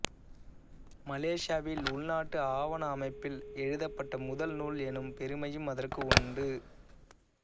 மலேசியாவில் உள்நாட்டு ஆவண அமைப்பில் எழுதப்பட்ட முதல் நூல் எனும் பெருமையும் அதற்கு உண்டு